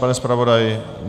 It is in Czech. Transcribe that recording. Pane zpravodaji?